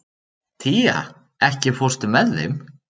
Tía, ekki fórstu með þeim?